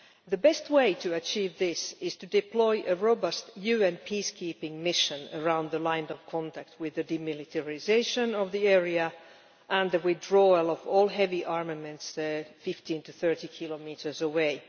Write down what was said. The best way to achieve this is to deploy a robust UN peacekeeping mission around the line of contact with demilitarisation of the area and the withdrawal of all heavy armaments to 15 to 30 kilometres away.